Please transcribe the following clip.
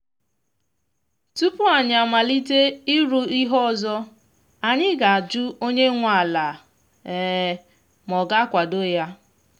tupu anyi amalite ịrụ ihe ọzọ anyị ga ajụ onye nwe ala ma ọ ga-akwado ya